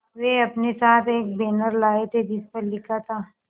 वे अपने साथ एक बैनर लाए थे जिस पर लिखा था